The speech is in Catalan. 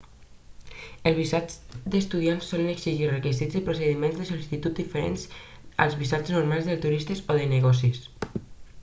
els visats d'estudiant solen exigir requisits i procediments de sol·licitud diferents dels visats normals de turista o de negocis